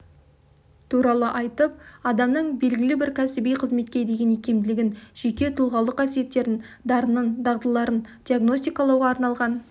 туралы айтып адамның белгілі-бір кәсіби қызметке деген икемділігін жеке тұлғалық қасиеттерін дарынын дағдыларын диагностикалауға арналған